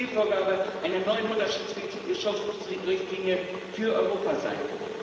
Das muss Zielvorgabe einer neuen Mutterschutzrichtlinie für Europa sein.